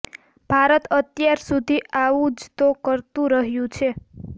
ભારત અત્યાર સુધી આવું જ તો કરતું રહ્યું છે